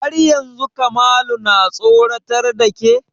Har yanzu Kamalu na tsoratar da ke?